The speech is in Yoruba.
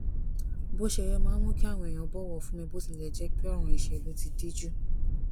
bó ṣe yẹ máa ń mú kí àwọn èèyàn bọwọ fún mi bó tilè jé pé òràn ìṣèlú ti díjú